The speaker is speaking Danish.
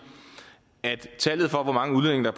at tallet for hvor mange udlændinge der